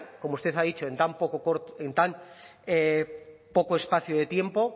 como usted ha dicho en tan poco espacio de tiempo